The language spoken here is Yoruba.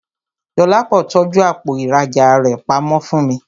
Dọlápọ̀ tọ́jú àpò ìrajà rẹ pamọ́ fún mi